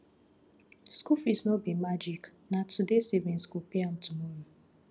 school fees no be magic na today savings go pay am tomorrow